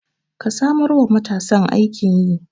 Ka samar wa matasan aikin yi.